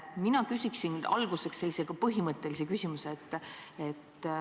Mina küsiksin alguseks sellise põhimõttelise küsimuse.